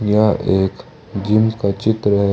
यह एक जीम का चित्र है।